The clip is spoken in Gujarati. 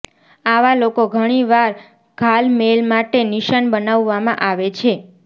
આવા લોકો ઘણી વાર ઘાલમેલ માટે નિશાન બનાવવામાં આવે છે